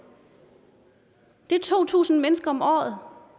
det er to tusind mennesker om året